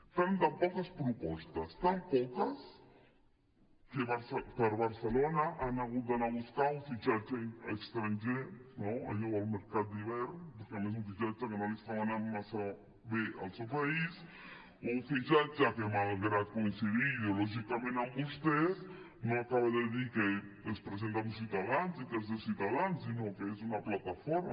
fan tan poques propostes tan poques que per a barcelona han hagut d’anar a buscar un fitxatge estranger allò del mercat d’hivern a més un fitxatge al que no li estava anant massa bé al seu país un fitxatge que malgrat coincidir ideològicament amb vostès no acaba de dir que es presenta amb ciutadans i que és de ciutadans sinó que és una plataforma